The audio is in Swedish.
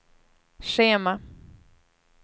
schema